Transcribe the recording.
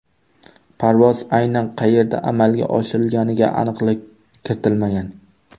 Parvoz aynan qayerda amalga oshirilganiga aniqlik kiritilmagan.